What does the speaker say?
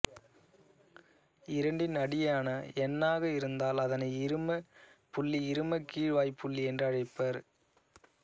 இரண்டின் அடியான எண்ணாக இருந்தால் அதனை இருமப் புள்ளி இருமக் கீழ்வாய்ப்புள்ளி என்று அழைப்பர்